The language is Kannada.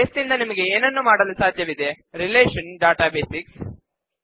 ಬೇಸ್ ನಿಂದ ನಿಮಗೆ ಏನನ್ನು ಮಾಡಲು ಸಾಧ್ಯವಿದೆರಿಲೇಶನಲ್ ಡಾಟಾ ಬೇಸಿಕ್ಸ್